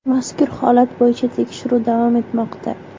Mazkur holat bo‘yicha tekshiruv davom etmoqda.